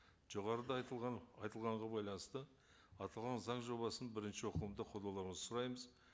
жоғарыда айтылған айтылғанға байланысты аталған заң жобасын бірінші оқылымда қолдауларыңызды сұраймыз